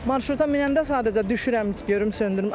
Marşruta minəndə sadəcə düşürəm görüm söndürüm.